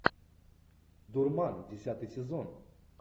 дурман десятый сезон